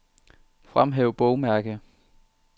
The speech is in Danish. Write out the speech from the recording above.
Fremhæv bogmærke.